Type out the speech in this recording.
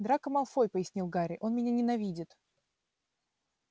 драко малфой пояснил гарри он меня ненавидит